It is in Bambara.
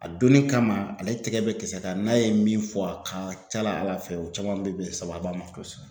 A donni kama ale tɛkɛ bɛ kisɛ kan n'a ye min fɔ a ka ca la Ala fɛ o caman be bɛn sababu ma kosɛbɛ.